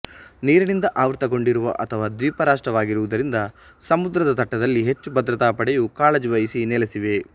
ನೀರಿನಿಂದ ಆವೃತಗೊಂಡಿರುವ ಅಥವಾ ದ್ವೀಪ ರಾಷ್ಟ್ರವಾಗಿರುವುದರಿಂದ ಸಮುದ್ರದ ತಟ್ಟದಲ್ಲಿ ಹೆಚ್ಚು ಭದ್ರತಾ ಪಡೆಯು ಕಾಳಜಿವಹಿಸಿ ನೆಲೆಸಿವೆ